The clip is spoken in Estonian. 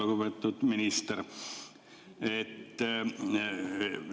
Lugupeetud minister!